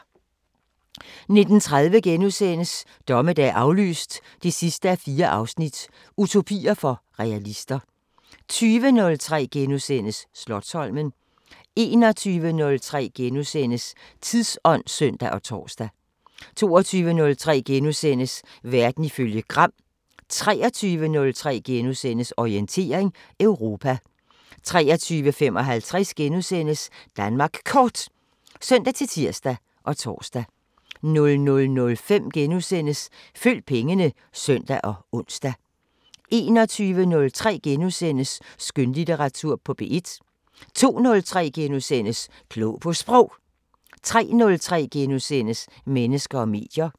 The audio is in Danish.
19:30: Dommedag aflyst 4:4 – Utopier for realister * 20:03: Slotsholmen * 21:03: Tidsånd *(søn og tor) 22:03: Verden ifølge Gram * 23:03: Orientering Europa * 23:55: Danmark Kort *(søn-tir og tor) 00:05: Følg pengene *(søn og ons) 01:03: Skønlitteratur på P1 * 02:03: Klog på Sprog * 03:03: Mennesker og medier *